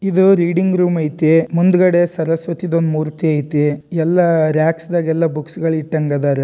ಇದು reading room ಐತಿ ಮುಂದ್ಗಡೆ ಸರಸ್ವತಿದೊಂದ್ ಮೂರ್ತಿ ಐತಿ ಎಲ್ಲ ರಾಕ್ಸ್ ಗೆಲ್ಲಾ ಬುಕ್ಸ್ ಗಳ್ ಇಟ್ಟಂಗ್ ಅದಾರ.